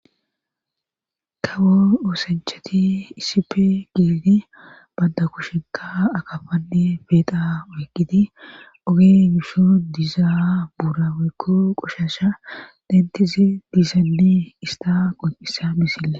kawo oosanchati isipe geedi banda kushenka akafanne beeqa wekkiti oge gishu dizaawa buuraweekko qoshasha dentizi diizaalli ista qonqisa missille